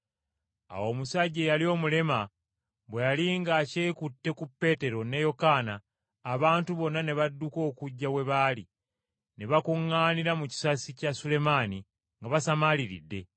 Awo omusajja eyali omulema bwe yali ng’akyekutte ku Peetero ne Yokaana abantu bonna ne badduka okujja we baali ne bakuŋŋaanira mu kisasi kya Sulemaani, nga basamaaliridde.